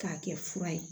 K'a kɛ fura ye